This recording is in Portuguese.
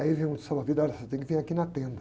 Aí vem um salva-vidas, olha, você tem que vir aqui na tenda.